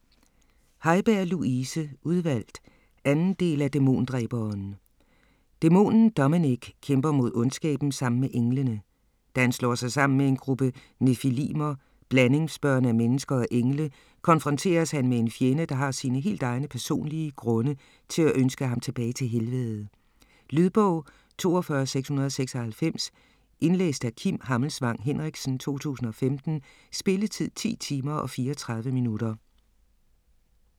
Haiberg, Louise: Udvalgt 2. del af Dæmondræberen. Dæmonen Dominic kæmper mod ondskaben sammen med englene. Da han slår sig sammen med en gruppe nephilimer, blandingsbørn af mennesker og engle, konfronteres han med en fjende, der har sine helt egne personlige grunde til at ønske ham tilbage til helvede. Lydbog 42696 Indlæst af Kim Hammelsvang Henriksen, 2015. Spilletid: 10 timer, 34 minutter.